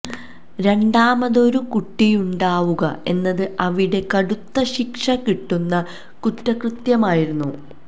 രണ്ടാമതൊരു കുട്ടിയുണ്ടാവുക എന്നത് അവിടെ കടുത്ത ശിക്ഷ കിട്ടുന്ന കുറ്റകൃത്യമായിരുന്നു